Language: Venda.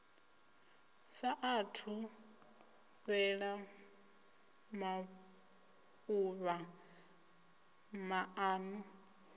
sa athu fhela maḓuvha maṱanu